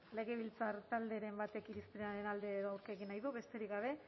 legebiltzar talderen batek irizpenaren alde edo aurka hitz egin nahi du besterik gabe